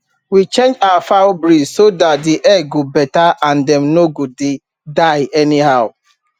we change our fowl breed so that the egg go better and dem no go dey die anyhow